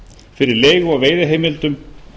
fyrir leigu á veiðiheimildum